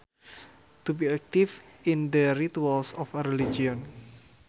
To be active in the rituals of a religion